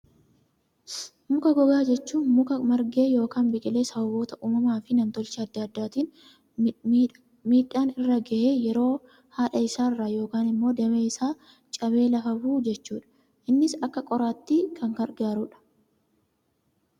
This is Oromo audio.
Muka gogaa jechuun, muka margee yookaan biqilee sababoota uumamaa fi namtolchee addaa addaatiin miidhaan irra gahee yeroo haadha isaa irraa yookaan immoo damee isaa cabee lafa bu'u jechuudha. Innis akka qoraattii kan gargaarudha.